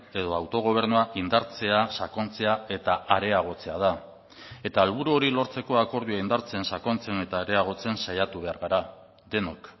edo autogobernua indartzea sakontzea eta areagotzea da eta helburu hori lortzeko akordioa indartzen sakontzen eta areagotzen saiatu behar gara denok